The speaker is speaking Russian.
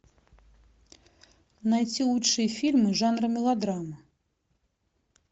найти лучшие фильмы жанра мелодрама